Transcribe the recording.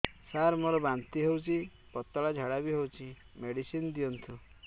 ସାର ମୋର ବାନ୍ତି ହଉଚି ପତଲା ଝାଡା ବି ହଉଚି ମେଡିସିନ ଦିଅନ୍ତୁ